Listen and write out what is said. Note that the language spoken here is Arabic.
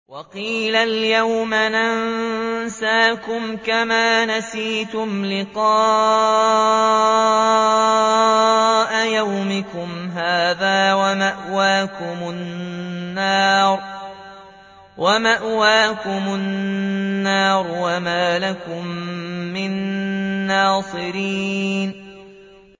وَقِيلَ الْيَوْمَ نَنسَاكُمْ كَمَا نَسِيتُمْ لِقَاءَ يَوْمِكُمْ هَٰذَا وَمَأْوَاكُمُ النَّارُ وَمَا لَكُم مِّن نَّاصِرِينَ